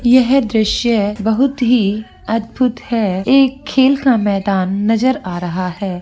यह दृश्य बहुत ही अद्भुत है ये एक खेल का मैदान नजर आ रहा है।